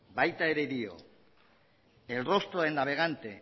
baita ere dio el rostro del navegante